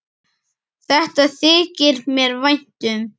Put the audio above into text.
Þetta þykir mér vænt um.